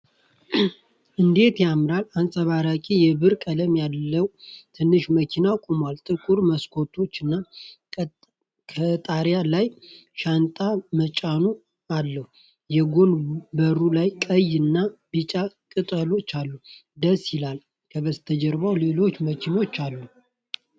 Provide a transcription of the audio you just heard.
እንዴት ያምራል! አንጸባራቂ የብር ቀለም ያለው ትንሽ መኪና ቆሟል። ጥቁር መስኮቶች እና ከጣሪያ ላይ ሻንጣ መጫኛ አለው። የጎን በሩ ላይ ቀይ እና ቢጫ ቅጦች አሉ። ደስ ይላል! ከበስተጀርባ ሌሎች መኪኖች አሉ።!